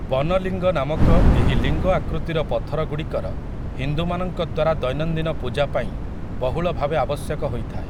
ବନଲିଙ୍ଗ' ନାମକ ଏହି ଲିଙ୍ଗ ଆକୃତିର ପଥରଗୁଡ଼ିକର ହିନ୍ଦୁମାନଙ୍କ ଦ୍ୱାରା ଦୈନନ୍ଦିନ ପୂଜା ପାଇଁ ବହୁଳ ଭାବେ ଆବଶ୍ୟକ ହୋଇଥାଏ ।